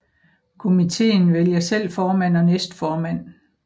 Komiteen vælger selv formand og næstformand